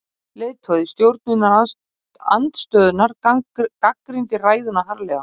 Leiðtogi stjórnarandstöðunnar gagnrýndi ræðuna harðlega